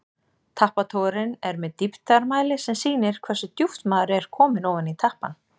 Tappatogarinn er með dýptarmæli sem sýnir hversu djúpt maður er kominn ofan í tappann.